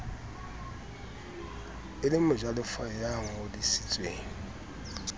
e le mojalefa ya ngodisitsweng